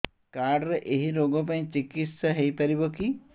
card ରେ ଏଇ ରୋଗ ପାଇଁ ଚିକିତ୍ସା ହେଇପାରିବ କି